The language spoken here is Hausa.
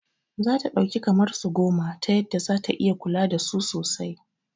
Zata ɗauki kamar su goma ta yadda zata iya kula dasu sosai